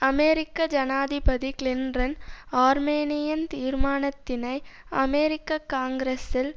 அமெரிக்க ஜனாதிபதி Clinton Armenian தீர்மானத்தினை அமெரிக்க காங்கிரசில்